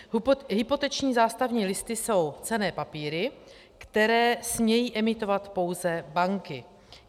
Hypoteční zástavní listy jsou cenné papíry, které smějí emitovat pouze banky.